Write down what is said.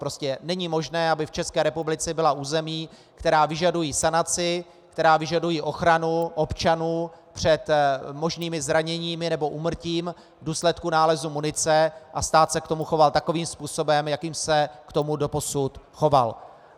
Prostě není možné, aby v České republice byla území, která vyžadují sanaci, která vyžadují ochranu občanů před možnými zraněními nebo úmrtím v důsledku nálezu munice, a stát se k tomu choval takovým způsobem, jakým se k tomu doposud choval.